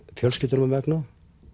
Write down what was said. fjölskyldunnar vegna